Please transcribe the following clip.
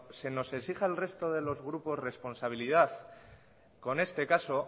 se nos exige al resto de los grupos responsabilidad con este caso